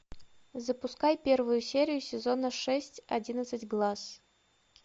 запускай первую серию сезона шесть одиннадцать глаз